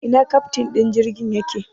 Ina keftin din jirgin yake?